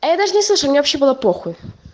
а я даже не слышала мне вообще было похуй